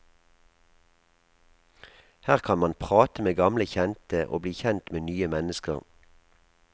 Her kan man prate med gamle kjente, og bli kjent med nye mennesker.